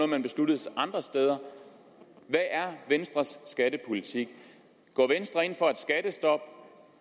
man besluttede andre steder hvad er venstres skattepolitik går venstre ind for et skattestop